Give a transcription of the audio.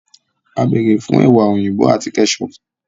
À bẹ́ẹrẹ́ fún ẹwa oyinbọ àti kẹ́chọpù.